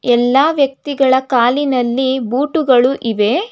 ಎಲ್ಲಾ ವ್ಯಕ್ತಿಗಳ ಕಾಲಿನಲ್ಲಿ ಬೂಟುಗಳು ಇವೆ.